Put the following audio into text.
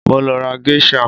Mo lọ ra Geisha